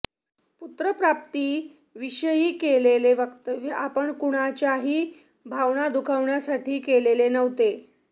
पुत्रप्राप्ती विषयी केलेले वक्तव्य आपण कुणाच्याही भावना दुखावण्यासाठी केलेले नव्हते